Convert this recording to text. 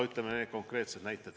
Need on konkreetsed näited.